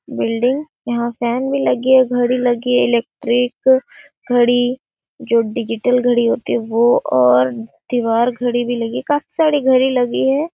building यहाँ fan भी लगी है घड़ी लगी है इलेक्ट्रिक घड़ी जो डिजिटल घड़ी होतीवो और दीवार घड़ी भी लगी है काफ़ी सारी घड़ी